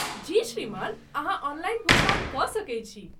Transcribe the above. जी श्रीमान, अहाँ ऑनलाइन भुगतान कऽ सकैत छी।